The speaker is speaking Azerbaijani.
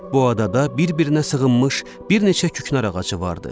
Bu adada bir-birinə sığınmış bir neçə küknar ağacı vardı.